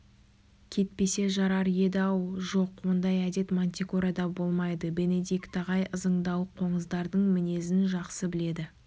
кетпесе жарар еді-ау жоқ ондай әдет мантикорада болмайды бенедикт ағай ызыңдауық қоңыздардың мінезін жақсы біледі